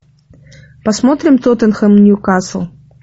посмотрим тоттенхэм ньюкасл